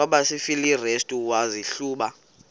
kwabasefilipi restu wazihluba